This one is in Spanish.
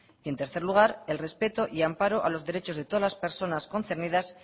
y en tercer lugar el respeto y amparo a los derechos de todas las personas concernidas